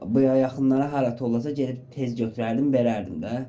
Bu yaxınlara hələ tollasa gedib tez götürərdim, verərdim də.